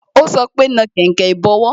Ó sọ pé "Na kainkain ìbọwọ́"